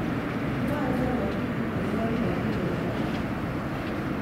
mwoe nee ngatutik akobo nematinyenaet